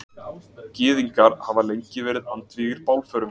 Gyðingar hafa lengi verið andvígir bálförum.